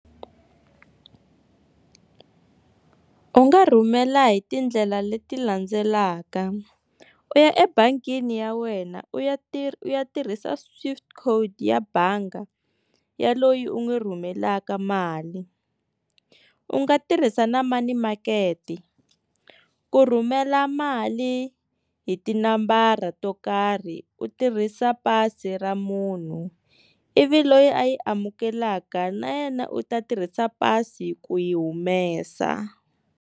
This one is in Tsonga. U nga rhumela hi tindlela leti landzelaka u ya ebangini ya wena u ya tirha u ya tirhisa swift code ya banga ya loyi u n'wi rhumela mhaka mali u nga tirhisa na money market ku rhumela mali hi tinambara to karhi u tirhisa pasi ra munhu ivi loyi a yi amukeleka na yena u ta tirhisa pasi ku yi humesa.